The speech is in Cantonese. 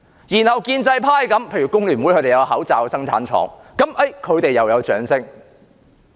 然後建制派，例如香港工會聯合會有口罩生產廠，他們又得到掌聲。